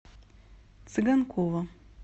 цыганкова